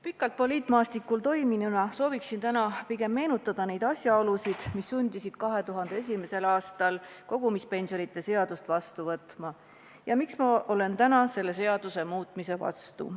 Pikalt poliitmaastikul toiminuna sooviksin täna pigem meenutada neid asjaolusid, mis sundisid 2001. aastal kogumispensionide seadust vastu võtma ja miks ma olen täna selle seaduse muutmise vastu.